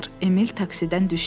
Emil taksidən düşdü.